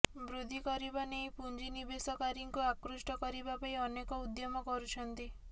ବୃଦ୍ଧି କରିବା ନେଇ ପୁଞ୍ଜିନିବେଶକାରୀଙ୍କୁ ଆକୃଷ୍ଟ କରିବା ପାଇଁ ଅନେକ ଉଦ୍ୟମ କରୁଛନ୍ତି